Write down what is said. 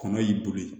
Kɔnɔ y'i bolo ye